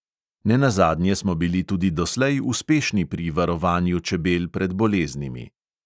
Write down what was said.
Ne nazadnje smo bili tudi doslej uspešni pri varovanju čebel pred boleznimi.